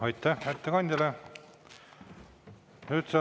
Aitäh ettekandjale!